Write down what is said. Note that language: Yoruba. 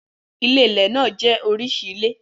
Ilé-ilẹ̀ náà jẹ́ oríṣi ilé.